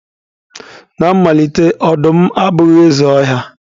Na mmalite, ọdụm abụghị eze ọhịa.